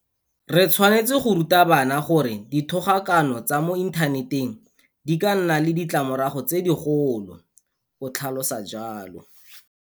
Re tshwanetse go ruta bana gore dithogakano tsa mo inthaneteng di ka nna le ditlamorago tse digolo, o tlhalosa jalo.